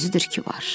Özüdür ki, var.